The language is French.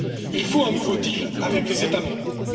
Il faut un nouveau deal avec les États membres.